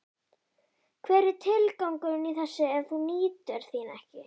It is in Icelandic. Hver er tilgangurinn í þessu ef þú nýtur þín ekki?